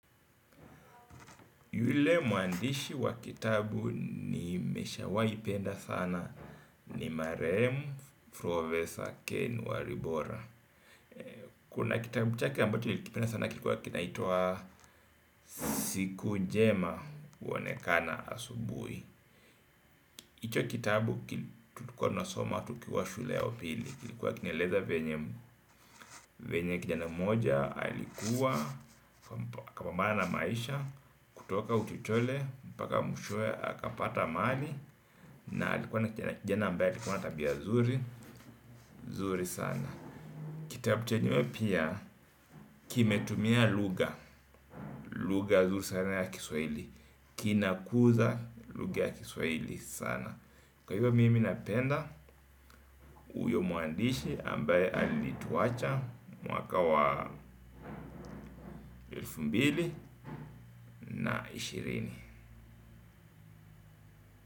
Yule muandishi wa kitabu nimeshawaipenda sana ni Maremu Professor Ken Waribora. Kuna kitabu chake ambacho nilikipenda sana kilikuwa kinaitua Siku njema Wonekana Asubui hicho kitabu tulikuwa tunasoma tukiwa shule ya upili. Kilikuwa kinaeleza venye kijana moja alikuwa kapambana na maisha. Kutoka uchochole mpaka mwishoe akapata mali. Na alikuwa na kijana ambaye alikuwa na tabia zuri zuri sana. Kitapu chenyewe pia kimetumia luga. Luga zuri sana ya kiswaili. Kinakuza luga ya kiswaili sana. Kwa hivyo mimi napenda. Uyo muandishi ambaye alituwacha mwaka wa elfu mbili na ishirini.